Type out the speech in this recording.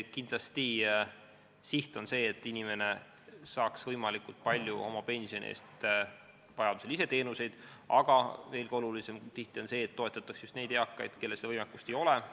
Kindlasti on siht see, et inimene saaks võimalikult palju oma pensioni eest vajaduse korral teenuseid, aga veelgi olulisem on tihti see, et toetatakse just neid eakaid, kellel seda võimekust ei ole.